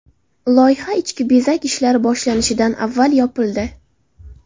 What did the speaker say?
Loyiha ichki bezak ishlari boshlanishidan avval yopildi.